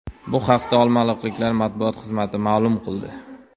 Bu haqda olmaliqliklar matbuot xizmati ma’lum qildi .